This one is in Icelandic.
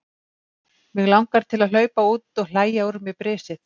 Mig langar til að hlaupa út og hlæja úr mér brisið.